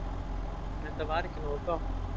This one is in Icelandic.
Þetta var ekki nógu gott.